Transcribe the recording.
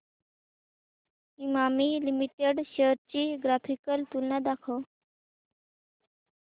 Emami limited shares ची graphical तुलना दाखव